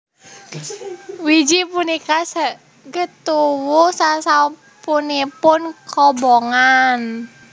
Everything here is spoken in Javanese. Wiji punika saged tuwuh sasampunipun kobongan